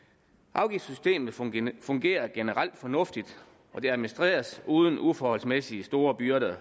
afgiftssystemet fungerer fungerer generelt fornuftigt og det administreres uden uforholdsmæssigt store byrder